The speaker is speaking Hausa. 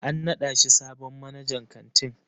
An naɗa shi sabon manajan kantin.